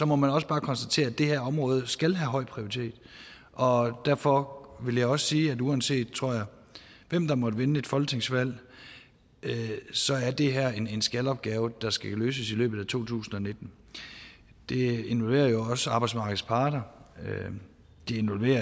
må man også bare konstatere at det her område skal have høj prioritet og derfor vil jeg også sige at uanset tror jeg hvem der måtte vinde et folketingsvalg så er det her er en skal opgave der skal løses i løbet af to tusind og nitten det involverer jo også arbejdsmarkedets parter og det involverer